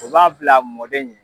U b'a bil'a mɔden ye.